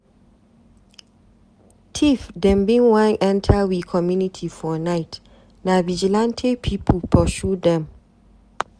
Tif dem bin wan enta we community for night, na vigilantee pipu pursue dem.